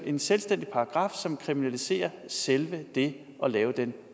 en selvstændig paragraf som kriminaliserer selve det at lave den